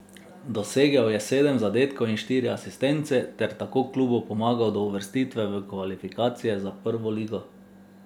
Dosegel je sedem zadetkov in štiri asistence ter tako klubu pomagal do uvrstitve v kvalifikacije za prvo ligo.